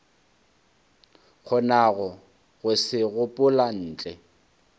kgonago go se gopola ntle